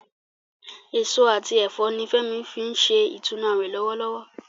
Èso àti ẹ̀fọ́ ni Fẹ́mi fi ń ṣe ìtúnu àwẹ̀ lọ́wọ́lọ́wọ́